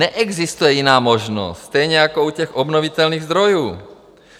Neexistuje jiná možnost, stejně jako u těch obnovitelných zdrojů.